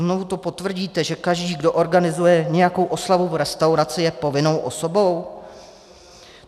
Znovu to potvrdíte, že každý, kdo organizuje nějakou oslavu v restauraci, je povinnou osobou?